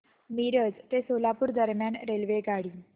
मिरज ते सोलापूर दरम्यान रेल्वेगाडी